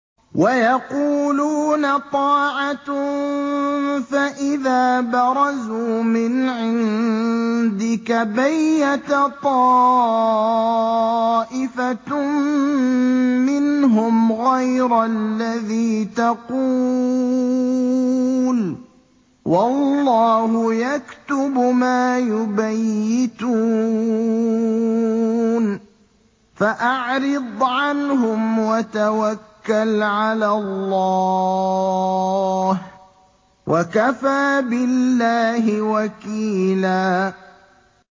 وَيَقُولُونَ طَاعَةٌ فَإِذَا بَرَزُوا مِنْ عِندِكَ بَيَّتَ طَائِفَةٌ مِّنْهُمْ غَيْرَ الَّذِي تَقُولُ ۖ وَاللَّهُ يَكْتُبُ مَا يُبَيِّتُونَ ۖ فَأَعْرِضْ عَنْهُمْ وَتَوَكَّلْ عَلَى اللَّهِ ۚ وَكَفَىٰ بِاللَّهِ وَكِيلًا